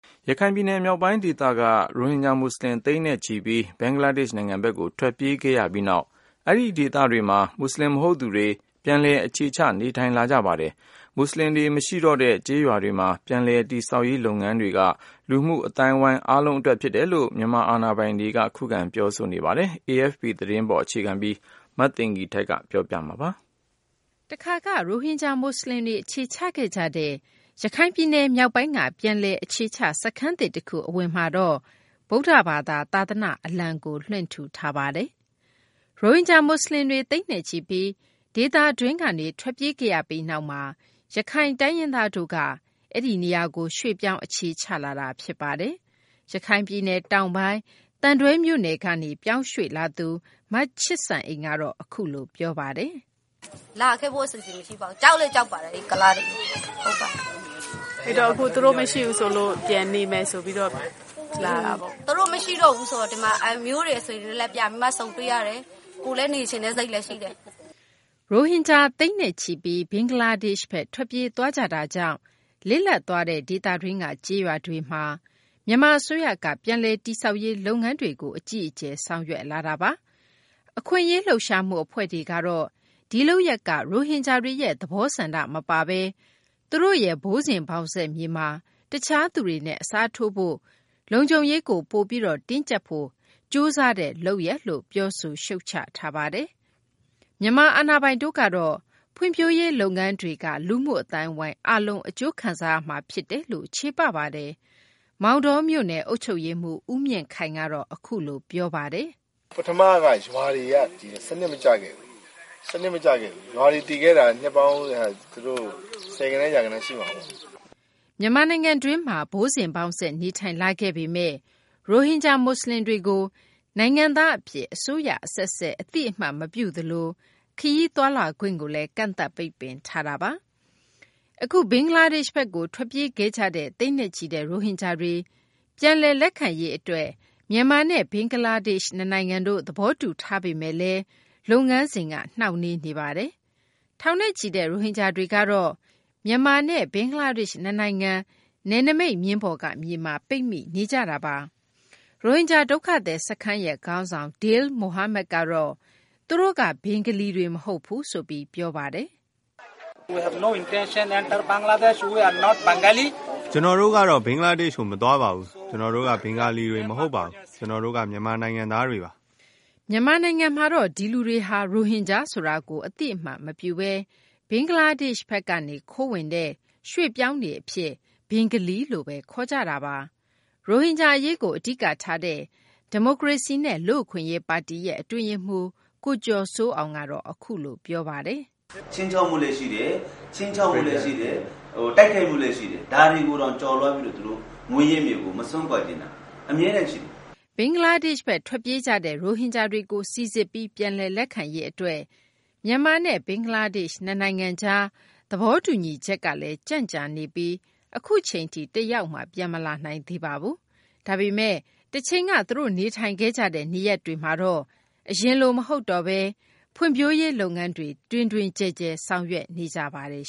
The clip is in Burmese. ရခိုင်ပြည်နယ် မြောက်ပိုင်း ဒေသကနေ ရိုဟင်ဂျာ မူဆလင် သိန်းနဲ့ချီပြီး ဘင်္ဂလားဒေရှ့် နိုင်ငံဘက်ကို ထွက်ပြေးခဲ့ကြရပြီး နောက်မှာတော့ အဲဒီ ဒေသတွေမှာ မူဆလင် မဟုတ်သူတွေ ပြန်လည် အခြေချ နေထိုင်လာကြပါတယ်။ မူဆလင်တွေ မရှိတော့တဲ့ ကျေးရွာတွေမှာ ပြန်လည် တည်ဆောက်ရေး လုပ်ငန်းတွေက လူမှုအသိုင်းအဝိုင်း အားလုံး အတွက် ဖြစ်တယ်လို့ မြန်မာအာဏာပိုင်တို့ ခုခံ ပြောဆိုနေကြတာပါ။ AFP သတင်းကို အခြေခံပြီး မသိင်္ဂ ီထိုက် ပြောပြပေးမှာပါ။ တခါက ရိုဟင်ဂျာ မူဆလင်တွေ အခြေချခဲ့ကြတဲ့ ရခိုင်ပြည်နယ် မြောက်ပိုင်းက ပြန်လည် အခြေချ စခန်းသစ်တခု အဝင်မှာ ဗုဒ္ဓဘာသာ သာသနာ့ အလံကိုလွှင့်ထူထားပါတယ်။ ရိုဟင်ဂျာ မူဆလင်တွေ သိန်းနဲ့ချီပြီး ဒေသတွင်းကနေ ထွက်ပြေးခဲ့ရပြီး နောက်မှာ ရခိုင် တိုင်းရင်းသားတို့က အဲဒီနေရာကို ရွှေ့ပြောင်း အခြေချလာကြတာပါ။ ရခိုင်ပြည်နယ် တောင်ပိုင်း သံတွဲမြို့နယ်ကနေ ပြောင်းရွှေ့ လာသူ မချစ်စံအိမ် ကတော့ အခုလို ပြောပါတယ်။ "လာခဲ့ဖို့ အစီအစဉ်မရှိပါဘူး ကြောက်လည်းကြောက်ပါတယ် အဲ့ကုလားတွေကိုလေ။ အဲ့တော့ သူတို့မရှိတော့ဘူးဆိုပြီး ပြန်ပြီးနေဖို့ လာတာပေါ့ " သူတို့မရှိတော့ဘူးဆိုတော့ ဒီမှာ အမျိုးတွေ အဆွေတွေနဲ့ ပြန်ပြီး ဆုံတွေ့ရတယ်။ ကိုယ်လည်း နေချင်တဲ့စိတ်လည်းရှိတယ်" ရိုဟင်ဂျာ သိန်းနဲ့ချီပြီး ဘင်္ဂလားဒေရှ့်ဘက် ထွက်ပြေးသွားကြတာကြောင့် လစ်လပ် သွားတဲ့ ဒေသတွင်းက ကျေးရွာတွေမှာ မြန်မာ အစိုးရက ပြန်လည်တည်ဆောက်ရေး လုပ်ငန်းတွေကို အကြီးအကျယ် ဆောင်ရွက်လာတာပါ။ အခွင့်အရေး လှုပ်ရှားမှု အဖွဲ့တွေကတော့ ဒီလုပ်ရပ်က ရိုဟင်ဂျာတွေရဲ့ သဘောဆန္ဒ မပါဘဲ သူတို့ရဲ့ ဘိုးစဉ်ဘောင်ဆက် မြေမှာ တခြားသူတွေနဲ့ အစားထိုးဖို့၊ လုံခြုံရေးကို ပိုပြီး တင်းကျပ်နိုင်ဖို့ ကြိုးစားတဲ့ လုပ်ရပ်လို့ ပြောဆိုရှုတ်ချထားတာပါ။ မြန်မာ အာဏာပိုင်တွေကတော့ ဖွံ့ဖြိုးရေး လုပ်ငန်းတွေက လူမှုအသိုင်းအဝိုင်း အားလုံး အကျိုးခံစားရမှာ ဖြစ်တယ်လို့ ချေပပါတယ်။ မောင်တောမြို့နယ် အုပ်ချုပ်ရေးမှူး ဦးမြင့်ခိုင်ကတော့ အခုလို ပြောပါတယ်။ "ပထမက ရွာတွေက စနစ်မကျခဲ့ဘူး။ စနစ်မကျခဲ့တာက ရွာတွေ တည်ခဲ့တာက နှစ်ပေါင်း သူတို့ ဆယ်ဂဏန်း ရာဂဏန်းရှိမှာပေါ့။" မြန်မာနိုင်ငံတွင်းမှာ ဘိုးစဉ်ဘောင်ဆက် နေထိုင်လာခဲ့ပေမယ့် ရိုဟင်ဂျာ မူဆလင်တွေကို နိုင်ငံသား အဖြစ် အစိုးရ အဆက်ဆက် အတည်မပြုသလို ခရီးသွားလာခွင့်ကိုလည်း ကန့်သတ်ပိတ်ပင်ထားတာပါ။ အခု ဘင်္ဂလားဒေရှ့်ဘက်ကို ထွက်ပြေးခဲ့ကြတဲ့ သိန်းနဲ့ချီတဲ့ ရိုဟင်ဂျာတွေကို ပြန်လည် လက်ခံရေး အတွက် မြန်မာနဲ့ ဘင်္ဂလားဒေရှ့် နှစ်နိုင်ငံတို့ သဘောတူထားပေမယ့်လည်း လုပ်ငန်းစဉ်က နှောင့်နှေးနေတာပါ။ ထောင်နဲ့ချီတဲ့ ရိုဟင်ဂျာတွေကတော့ မြန်မာနဲ့ ဘင်္ဂလားဒေရှ့် နှစ်နိုင်ငံ နယ်နိမိတ်မျဉ်းပေါ်က မြေမှာ ပိတ်မိနေကြတာပါ။ ရိုဟင်ဂျာ ဒုက္ခသည် စခန်းခေါင်းဆောင် Dil Mohamed ကတော့ သူတို့က ဘင်္ဂလီတွေ မဟုတ်ဘူးဆိုပြီး ပြောပါတယ်။ "ကျနော်တို့ကတော့ ဘင်္ဂလားဒေရှ့်ကို မသွားပါဘူး။ ကျနော်တို့က ဘင်္ဂါလီတွေ မဟုတ်ပါဘူး။ ကျနော်တို့က မြန်မာ နိုင်ငံသားတွေပါ။" မြန်မာနိုင်ငံမှာတော့ ဒီလူတွေဟာ ရိုဟင်ဂျာဆိုတာကို အသိအမှတ်မပြုဘဲ ဘင်္ဂလားဒေရှ့်ဘက် ကနေ ခိုးဝင်တဲ့ ရွှေ့ပြောင်းတွေအဖြစ် ဘင်္ဂလီလို့ဘဲ ခေါ်ကြတာပါ။ ရိုဟင်ဂျာ အရေးကို အဓိကထားတဲ့ ဒီမိုကရေစီနဲ့ လူ့အခွင့်အရေးပါတီ ရဲ့ အတွင်းရေးမှူး ကိုကျော်စိုးအောင်ကတော့ အခုလို ပြောပါတယ်။ "ခြိမ်းခြောက်မှုလည်း ရှိတယ် ခြိမ်းခြောက်တာလည်းရှိတယ် တိုက်ခိုက်မှုလည်း ရှိတယ် ဒါတွေကိုတောင် ကျော်လွှားပြီး သူတို့မွေးရပ်မြေကို မစွန့်ခွာချင်တာ။ အမြဲတမ်းရှိတယ်။" ဘင်္ဂလားဒေရှ့်ဘက် ထွက်ပြေးကြတဲ့ ရိုဟင်ဂျာတွေကို စိစစ်ပြီး ပြန်လည် လက်ခံရေး အတွက် မြန်မာနဲ့ ဘင်္ဂလားဒေရှ့် နှစ်နိုင်ငံကြား သဘောတူညီချက်ကလည်း ကြံံ့ကြာနေပြီး အခုအချိန်ထိ တယောက်မှ ပြန်မလာနိုင်သေးပါဘူး။ ဒါပေမယ့် တချိန်က သူတို့ နေထိုင်ခဲ့ကြတဲ့ နေရပ်တွေမှာတော့ အရင်လို မဟုတ်တော့ဘဲ ဖွံ့ဖြိုးရေး လုပ်ငန်းတွေ တွင်တွင်ကျယ်ကျယ် ဆောင်ရွက်နေကြပါတယ်